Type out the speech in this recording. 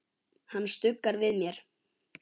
Hann stuggar við mér.